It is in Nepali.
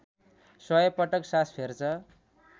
सय पटक सास फेर्छ